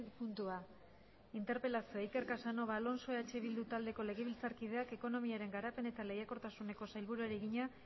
puntua interpelazioa iker casanova alonso eh bildu taldeko legebiltzarkideak ekonomiaren garapen eta lehiakortasuneko sailburuari egina